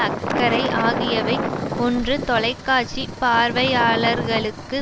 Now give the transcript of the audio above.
அக்கறை ஆகியவை ஒன்று தொலைக்காட்சி பார்வையாளர்களுக்கு